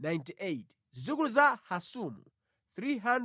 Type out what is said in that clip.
Zidzukulu za Hasumu 328